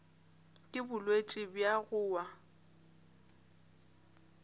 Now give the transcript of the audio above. ke bolwetši bja go wa